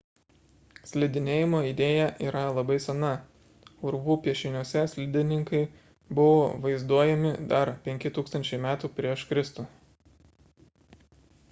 slidinėjimo idėja yra labai sena – urvų piešiniuose slidininkai buvo vaizduojami dar 5000 m pr kr